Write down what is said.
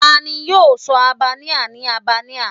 Tani yoo sọ Albania ni Albania?